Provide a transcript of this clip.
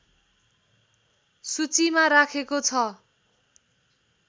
सूचीमा राखेको छ